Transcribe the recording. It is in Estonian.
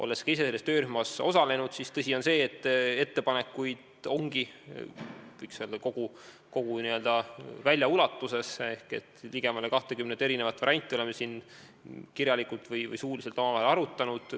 Olles ise selles töörühmas osalenud, siis tõsi on see, et ettepanekuid ongi, võiks öelda, kogu n-ö välja ulatuses ehk et oleme siin kirjalikult või suuliselt omavahel arutanud ligemale 20 varianti.